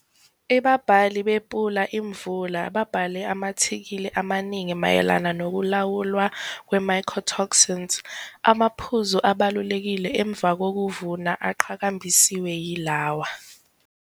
Ibabhali bePula Imvula babhale ama-athikhili amaningi mayelana nokulawulwa kwe-mycotoxins. Amaphuzu abalulekile emva kokuvuna aqhakambisiwe yilawa-